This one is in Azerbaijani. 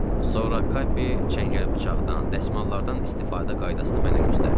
Sonra Kapi çəngəl-bıçaqdan, dəsmallardan istifadə qaydasını mənə göstərdi.